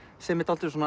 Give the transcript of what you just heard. sem er dálítið